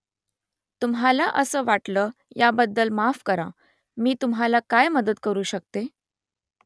तुम्हाला असं वाटलं याबद्दल माफ करा . मी तुम्हाला काय मदत करू शकते ?